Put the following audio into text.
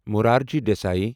Morarji Desai